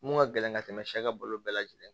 Mun ka gɛlɛn ka tɛmɛ sɛ ka bolo bɛɛ lajɛlen